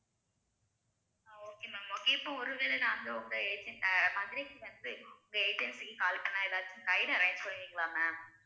okay ma'am okay இப்ப ஒருவேளை நாங்க உங்க agent மாதிரி separate உங்க agency க்கு call பண்ணா ஏதாவது guide arrange பண்ணுவீங்களா ma'am